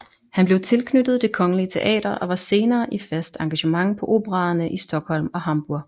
Han blev tilknyttet Det Kongelige Teater og var senere i fast engagement på operaerne i Stockholm og Hamburg